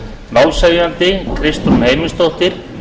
málshefjandi er kristrún eymundsdóttir